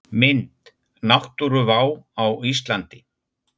Mynd: Náttúruvá á Íslandi.